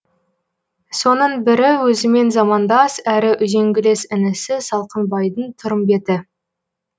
соның бірі өзімен замандас әрі үзеңгілес інісі салқынбайдың тұрымбеті